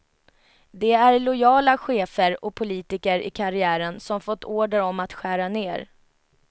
De är lojala chefer och politiker i karriären som fått order om att skära ner.